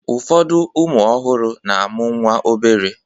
Ụfọdụ ụmụ ọhụrụ na-amụ nwa obere